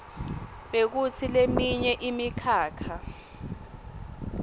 bekutsi leminye imikhakha